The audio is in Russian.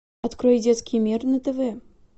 открой детский мир на тв